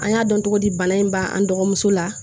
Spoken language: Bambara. An y'a dɔn cogo di bana in b'an dɔgɔmuso la